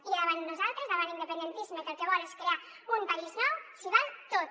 i davant nosaltres davant l’independentisme que el que vol és crear un país nou s’hi val tot